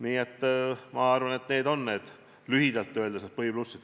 Nii et ma arvan, et need on lühidalt öeldes need põhiplussid.